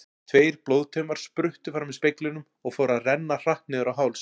Tveir blóðtaumar spruttu fram í speglinum og fóru að renna hratt niður á háls.